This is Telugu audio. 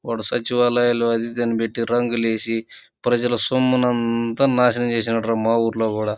వాడు సచ్చివలయంలో అది ఇది పెట్టి రంగులు ఏసీ ప్రజల సొమ్మునంతా నాశనం చేసినాడురా మా ఊరిలో కూడా.